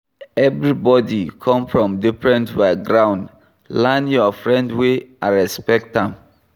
Everybody come from different background, learn your friend way and respect am